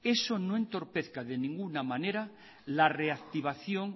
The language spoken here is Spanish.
eso no entorpezca de ninguna manera la reactivación